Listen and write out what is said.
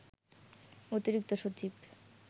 অতিরিক্ত সচিব